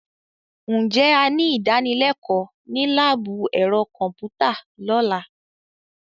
Ǹjẹ́ a ní ìdánilẹ́kọ̀ọ́ ní láàbù ẹ̀rọ kọ̀m̀pútà lọ́la.